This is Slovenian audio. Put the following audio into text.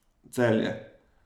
Celje.